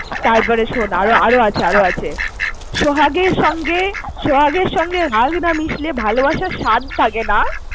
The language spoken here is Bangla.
তারপরে শোন, আরো ~ আরো আছে আরো আছে সোহাগের সঙ্গে~সোহাগের সঙ্গে রাগ না মিশলে ভালোবাসার স্বাদ থাকেনা।